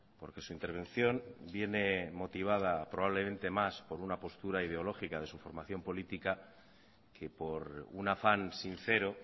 porque su intervención viene motivada probablemente más por una postura ideológica de su formación política que por un afán sincero